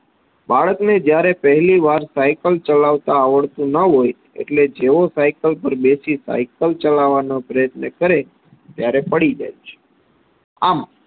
બાળકને જ્યારે પહેલી વાર સાઈકલ ચલાવતા આવડતુ ન હોય એટલે જેવો સાઈકલ પર બેસી સાઈકલ ચલાવવાનો પ્રયત્ન કરે ત્યારે પડી જાય છે આમ